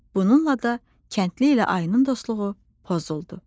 Bununla da kəndli ilə ayının dostluğu pozuldu.